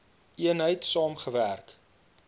eenheid saam gewerk